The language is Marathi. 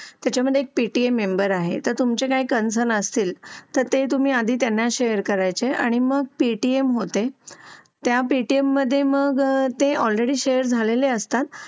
त्याच्यामध्ये एक पेटी मेंबर आहे तर तुमचे काही कनेक्शन असेल तर ते तुम्ही आधी त्यांना शेर करायचे आणि मग पेटीएम होते.